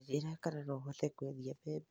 Tanjĩra kana no hote kwendĩa mbembe